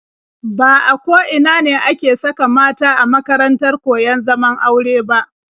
Ba a ko ina ne ake saka mata a makarantar koyon zaman aure ba.